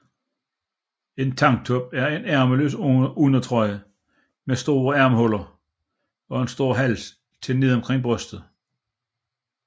En Tanktop er en ærmeløs undertrøje med store ærmehuller og en stor hals til ned omkring brystet